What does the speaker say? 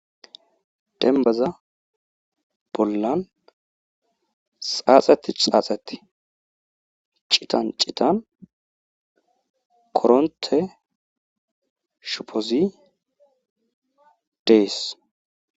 Denbaza bollan xaaxati xaaxati citan citan koronte shopozi dees.